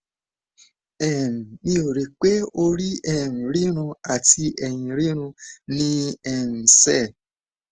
um mi ò rò pé orí um rírun àti èyìn rírun ní í um ṣe